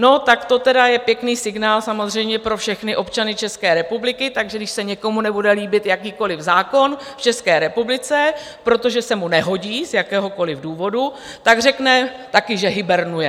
No, tak to tedy je pěkný signál samozřejmě pro všechny občany České republiky, takže když se někomu nebude líbit jakýkoli zákon v České republice, protože se mu nehodí z jakéhokoli důvodu, tak řekne taky, že hibernuje.